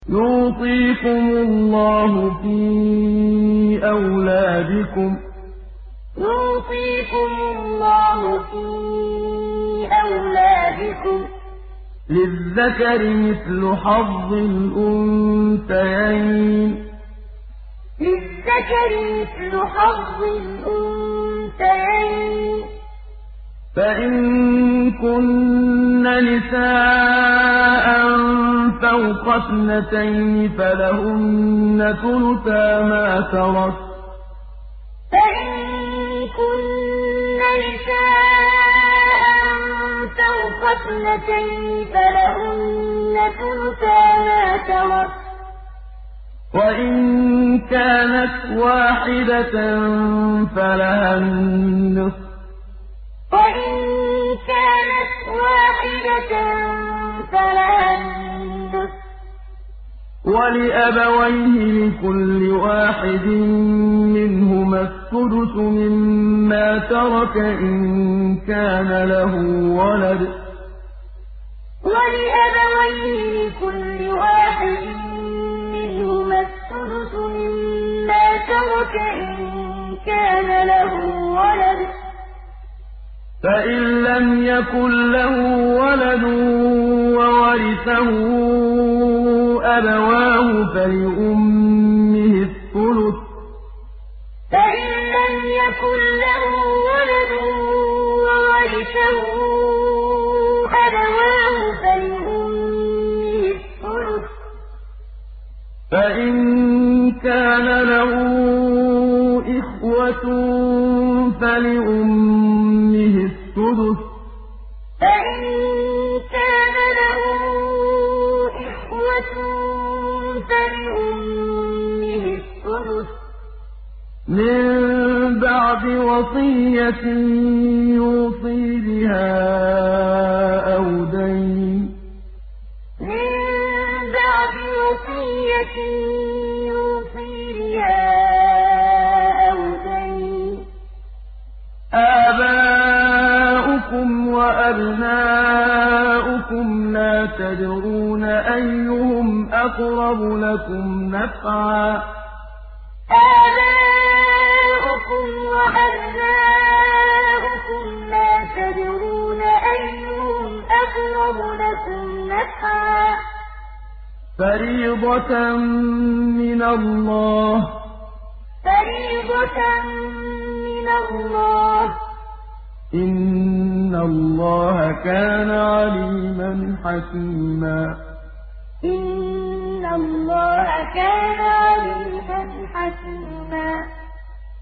يُوصِيكُمُ اللَّهُ فِي أَوْلَادِكُمْ ۖ لِلذَّكَرِ مِثْلُ حَظِّ الْأُنثَيَيْنِ ۚ فَإِن كُنَّ نِسَاءً فَوْقَ اثْنَتَيْنِ فَلَهُنَّ ثُلُثَا مَا تَرَكَ ۖ وَإِن كَانَتْ وَاحِدَةً فَلَهَا النِّصْفُ ۚ وَلِأَبَوَيْهِ لِكُلِّ وَاحِدٍ مِّنْهُمَا السُّدُسُ مِمَّا تَرَكَ إِن كَانَ لَهُ وَلَدٌ ۚ فَإِن لَّمْ يَكُن لَّهُ وَلَدٌ وَوَرِثَهُ أَبَوَاهُ فَلِأُمِّهِ الثُّلُثُ ۚ فَإِن كَانَ لَهُ إِخْوَةٌ فَلِأُمِّهِ السُّدُسُ ۚ مِن بَعْدِ وَصِيَّةٍ يُوصِي بِهَا أَوْ دَيْنٍ ۗ آبَاؤُكُمْ وَأَبْنَاؤُكُمْ لَا تَدْرُونَ أَيُّهُمْ أَقْرَبُ لَكُمْ نَفْعًا ۚ فَرِيضَةً مِّنَ اللَّهِ ۗ إِنَّ اللَّهَ كَانَ عَلِيمًا حَكِيمًا يُوصِيكُمُ اللَّهُ فِي أَوْلَادِكُمْ ۖ لِلذَّكَرِ مِثْلُ حَظِّ الْأُنثَيَيْنِ ۚ فَإِن كُنَّ نِسَاءً فَوْقَ اثْنَتَيْنِ فَلَهُنَّ ثُلُثَا مَا تَرَكَ ۖ وَإِن كَانَتْ وَاحِدَةً فَلَهَا النِّصْفُ ۚ وَلِأَبَوَيْهِ لِكُلِّ وَاحِدٍ مِّنْهُمَا السُّدُسُ مِمَّا تَرَكَ إِن كَانَ لَهُ وَلَدٌ ۚ فَإِن لَّمْ يَكُن لَّهُ وَلَدٌ وَوَرِثَهُ أَبَوَاهُ فَلِأُمِّهِ الثُّلُثُ ۚ فَإِن كَانَ لَهُ إِخْوَةٌ فَلِأُمِّهِ السُّدُسُ ۚ مِن بَعْدِ وَصِيَّةٍ يُوصِي بِهَا أَوْ دَيْنٍ ۗ آبَاؤُكُمْ وَأَبْنَاؤُكُمْ لَا تَدْرُونَ أَيُّهُمْ أَقْرَبُ لَكُمْ نَفْعًا ۚ فَرِيضَةً مِّنَ اللَّهِ ۗ إِنَّ اللَّهَ كَانَ عَلِيمًا حَكِيمًا